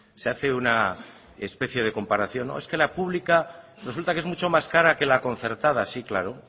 se hace una especie de comparación es que la pública resulta que es mucho más cara que la concertada sí claro